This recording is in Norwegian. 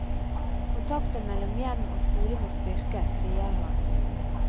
Kontakten mellom hjem og skole må styrkes, sier han.